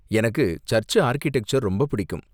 எனக்கு church architecture ரொம்ப பிடிக்கும்.